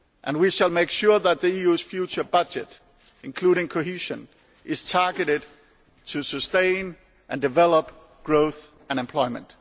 We shall make sure that the EU's future budget, including cohesion, is targeted to sustain and develop growth and employment.